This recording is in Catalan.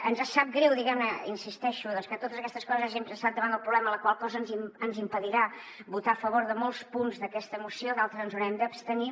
ens sap greu hi insisteixo que totes aquestes coses hagin passat davant del problema la qual cosa ens impedirà votar a favor de molts punts d’aquesta moció i en d’altres ens hi haurem d’abstenir